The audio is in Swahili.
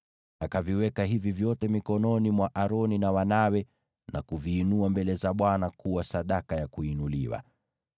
Akaviweka hivi vyote mikononi mwa Aroni na wanawe, na kuviinua mbele za Bwana kuwa sadaka ya kuinuliwa.